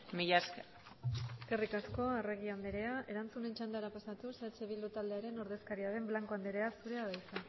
mila esker eskerri asko arregi anderea erantzunen txandaren pasatuz eh bildu taldearen ordezkariaren blanco anderea zurea da hitza